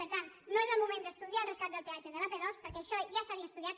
per tant no és el moment d’estudiar el rescat del pe·atge de l’ap·dos perquè això ja s’havia estudiat